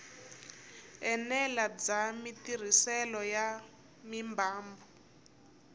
enela bya matirhiselo ya mimbangu